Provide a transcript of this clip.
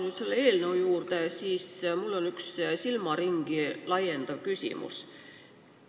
Tulles tagasi eelnõu juurde, on mul üks silmaringi laiendav küsimus.